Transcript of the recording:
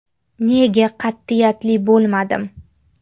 Nega qat’iyatli bo‘lmadim.